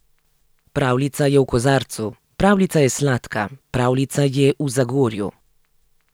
Pravljica je v kozarcu, pravljica je sladka, pravljica je v Zagorju.